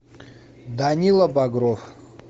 данила багров